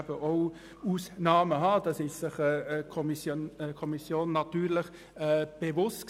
Dessen war sich die Kommission bewusst.